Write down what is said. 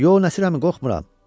Yox Nəsir əmi qorxmuram.